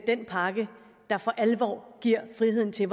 den pakke der for alvor giver friheden til